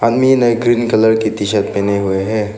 आदमीन है green colour की टीशर्ट पहने हुए हैं।